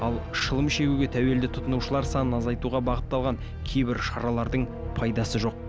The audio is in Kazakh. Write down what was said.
ал шылым шегуге тәуелді тұтынушылар санын азайтуға бағытталған кейбір шаралардың пайдасы жоқ